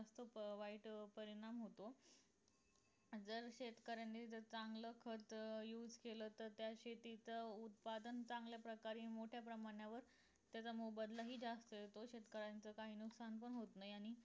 अं खूप वाईट परिणाम होतो जर शेतकऱ्यांनी चांगलं खत केलं तर त्या शेती च उत्पादन चांगल्या प्रकारे मोठ्या प्रमाणावर त्याचा मोबदला हि जास्त येतो शेतकऱ्यांचं हि काही नुकसान पण होत नाही आणि